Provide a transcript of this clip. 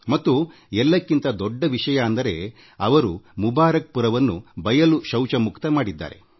ಮತ್ತು ಎಲ್ಲಕ್ಕಿಂತ ಮಿಗಿಲಾಗಿ ಅವರು ಮುಬಾರಕ್ ಪುರವನ್ನು ಬಯಲು ಶೌಚಮುಕ್ತ ಮಾಡಿದ್ದಾರೆ